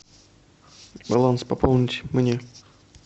баланс пополнить мне